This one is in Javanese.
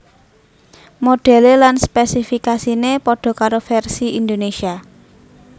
Modhèlé lan spésifikasiné padha karo vèrsi Indonésia